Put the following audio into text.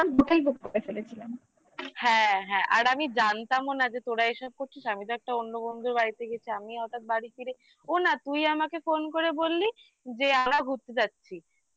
হ্যাঁ হ্যাঁ আর আমি জানতামও না যে তোরা এসব করছিস আমি তো একটা অন্য বন্ধুর বাড়িতে গেছি আমি হঠাৎ বাড়ি ফিরে ও না তুই আমাকে phone করে বললি যে ঘুরতে যাচ্ছিস